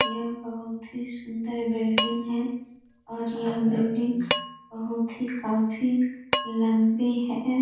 यह बहुत ही सुंदर बिल्डिंग है और यह बिल्डिंग बहुत ही काफी लंबी है।